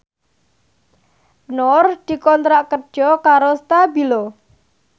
Nur dikontrak kerja karo Stabilo